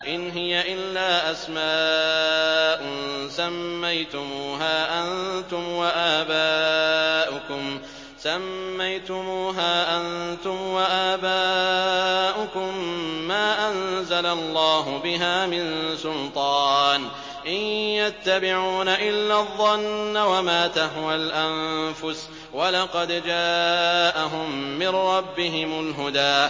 إِنْ هِيَ إِلَّا أَسْمَاءٌ سَمَّيْتُمُوهَا أَنتُمْ وَآبَاؤُكُم مَّا أَنزَلَ اللَّهُ بِهَا مِن سُلْطَانٍ ۚ إِن يَتَّبِعُونَ إِلَّا الظَّنَّ وَمَا تَهْوَى الْأَنفُسُ ۖ وَلَقَدْ جَاءَهُم مِّن رَّبِّهِمُ الْهُدَىٰ